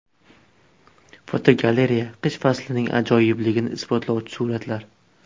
Fotogalereya: Qish faslining ajoyibligini isbotlovchi suratlar.